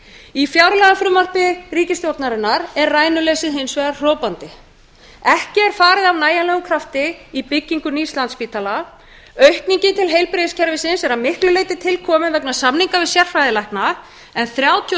í fjárlagafrumvarpi ríkisstjórnarinnar er rænuleysið hins vegar hrópandi ekki er farið af nægjanlegum krafti í byggingu nýs landspítala aukningin til heilbrigðiskerfisins er að miklu leyti til komin vegna samninga við sérfræðilækna en þrjátíu og